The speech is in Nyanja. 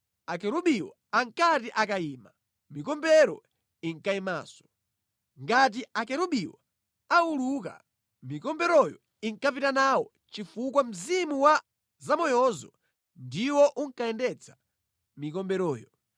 Akerubiwo ankati akayima, mikombero inkayimanso. Ngati akerubiwo auluka, mikomberoyo inkapita nawo chifukwa mzimu wa zamoyozo ndiwo unkayendetsa mikomberoyo.